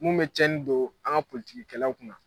Mun bɛ tiɲɛni don an ka politigikɛlaw kunna